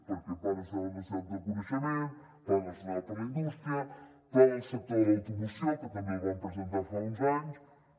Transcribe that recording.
perquè pla nacional per a la societat del coneixement pla nacional per a la indústria pla del sector de l’automoció que també el vam presentar fa uns anys